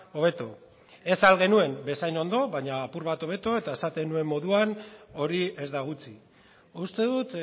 hobeto ez ahal genuen bezain ondo baina apur bat hobeto eta esaten nuen moduan hori ez da gutxi uste dut